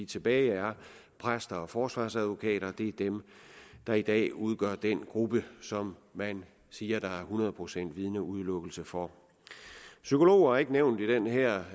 tilbage er præster og forsvarsadvokater det er dem der i dag udgør den gruppe som man siger der er hundrede procent vidneudelukkelse for psykologer er ikke nævnt i den her